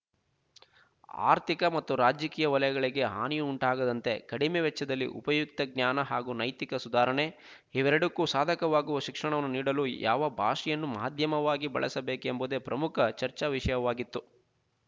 ಆರ್ಥಿಕ ಮತ್ತು ರಾಜಕೀಯ ವಲಯಗಳಿಗೆ ಹಾನಿಯುಂಟಾಗದಂತೆ ಕಡಿಮೆ ವೆಚ್ಚದಲ್ಲಿ ಉಪಯುಕ್ತ ಜ್ಞಾನ ಹಾಗೂ ನೈತಿಕ ಸುಧಾರಣೆಇವೆರಡಕ್ಕೂ ಸಾಧಕವಾಗುವ ಶಿಕ್ಷಣವನ್ನು ನೀಡಲು ಯಾವ ಭಾಷೆಯನ್ನು ಮಾಧ್ಯಮವಾಗಿ ಬಳಸಬೇಕೆಂಬುದೇ ಪ್ರಮುಖ ಚರ್ಚಾವಿಶಯವಾಗಿತ್ತು